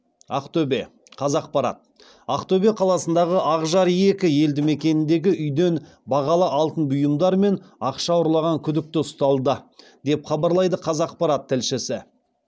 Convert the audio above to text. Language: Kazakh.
ақтөбе қазақпарат ақтөбе қаласындағы ақжар екі елді мекеніндегі үйден бағалы алтын бұйымдар мен ақша ұрлаған күдікті ұсталды деп хабарлайды қазақпарат тілшісі